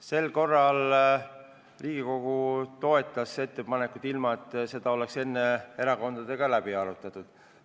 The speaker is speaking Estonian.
Sel korral Riigikogu toetas ettepanekut, ilma et seda oleks enne erakondadega läbi arutatud.